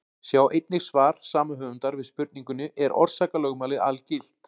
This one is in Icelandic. Sjá einnig svar sama höfundar við spurningunni: Er orsakalögmálið algilt?